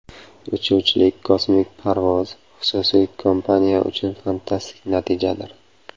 Uchuvchili kosmik parvoz xususiy kompaniya uchun fantastik natijadir.